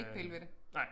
Ikke pille ved det